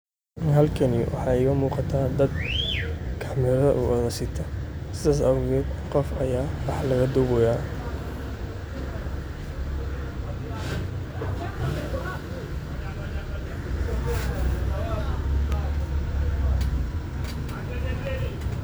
Halkani waxa igamugata dad camera sitaa sidan gof aya wah lagudubi haya.